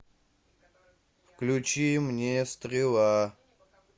включи мне стрела